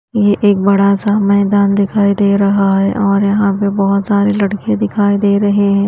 ये एक बड़ा सा मैदान दिखाई दे रहा है और यहां पर बहोत सारे लडके दिखाई दे रहे हैं।